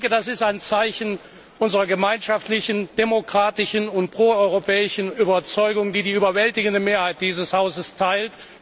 Das ist ein Zeichen unserer gemeinschaftlichen, demokratischen und pro europäischen Überzeugung, die die überwältigende Mehrheit dieses Hauses teilt.